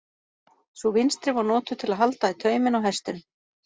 Sú vinstri var notuð til að halda í tauminn á hestinum.